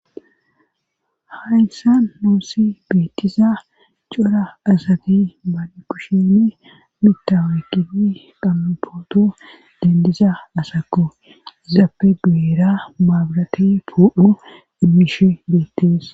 Hayyssa noossi beettiza cora asati baale kushime mitawe gii qamna pooto dendiza asako izaappe duera maabrati po'u immishi beettes.